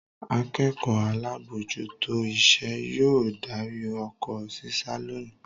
Akẹ́kọ̀ọ́ alábòójútó iṣẹ́ yóò darí oko ṣíṣá lónìí.